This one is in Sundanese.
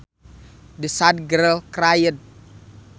The sad girl cried